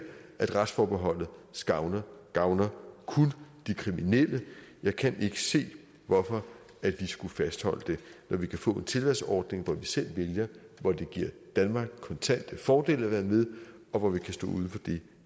retsforbeholdet gavner gavner kun de kriminelle jeg kan ikke se hvorfor vi skulle fastholde det når vi kan få en tilvalgsordning hvor vi selv vælger at hvor det giver danmark kontante fordele at være med og hvor vi kan stå uden for det